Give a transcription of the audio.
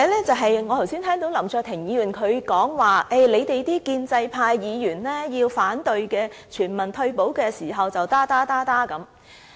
此外，我剛才聽到林卓廷議員提到，建制派議員想反對全民退休時便會說些甚麼甚麼。